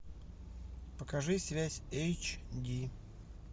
покажи связь эйч ди